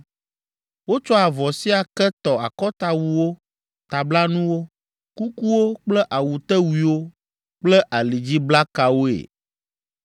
Wotsɔ avɔ sia ke tɔ akɔtawuwo, tablanuwo, kukuwo kple awutewuiwo kple alidziblakawoe.